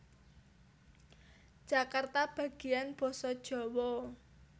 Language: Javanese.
Jakarta Bagian Basa Djawa